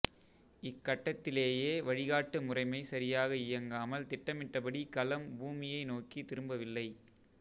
இக்கட்டத்திலேயே வழிகாட்டு முறைமை சரியாக இயங்காமல் திட்டமிட்டபடி கலம் பூமியை நோக்கித் திரும்பவில்லை